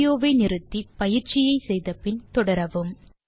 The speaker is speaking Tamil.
வீடியோ வை நிறுத்தி பயிற்சியை செய்து முடித்து பின் தொடரவும்